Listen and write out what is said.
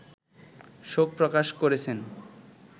শোক প্রকাশ করেছেন